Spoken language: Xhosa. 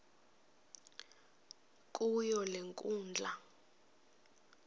kuyo le nkundla